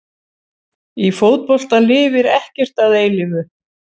Í fótbolta lifir ekkert að eilífu.